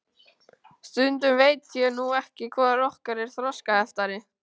Stundum veit ég nú ekki hvor okkar er þroskaheftari.